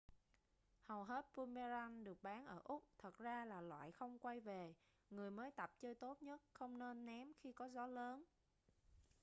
hầu hết boomerang được bán ở úc thật ra là loại không quay về người mới tập chơi tốt nhất không nên ném khi có gió lớn